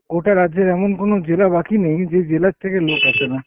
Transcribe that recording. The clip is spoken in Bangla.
গোটা রাজ্যের এমন কোনো জেলা বাকি নেই যেই জেলার থেকে লোক আসেনা।